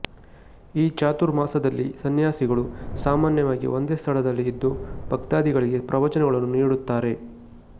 ಈ ಚಾತುರ್ಮಾಸದಲ್ಲಿ ಸನ್ಯಾಸಿಗಳು ಸಾಮಾನ್ಯವಾಗಿ ಒಂದೇ ಸ್ಥಳದಲ್ಲಿ ಇದ್ದು ಭಕ್ತಾದಿಗಳಿಗೆ ಪ್ರವಚನಗಳನ್ನು ನೀಡುತ್ತಾರೆ